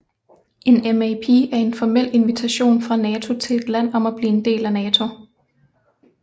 En MAP er en formel invitation fra NATO til et land om at blive en del af NATO